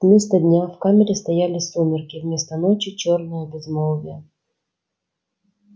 вместо дня в камере стояли сумерки вместо ночи чёрное безмолвие